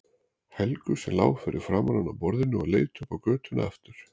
Helgu sem lá fyrir framan hann á borðinu og leit upp á götuna aftur.